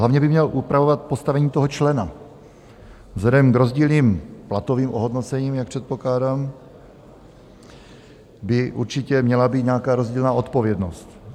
Hlavně by měl upravovat postavení toho člena, vzhledem k rozdílným platovým ohodnocením, jak předpokládám, by určitě měla být nějaká rozdílná odpovědnost.